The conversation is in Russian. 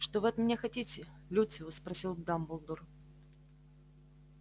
что вы от меня хотите люциус спросил дамблдор